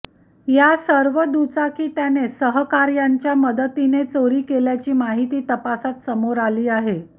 या सर्व दुचाकी त्याने सहकार्यांच्या मदतीने चोरी केल्याची माहीती तपासात समोर आली आहे